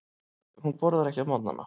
Hún borðar ekki á morgnana.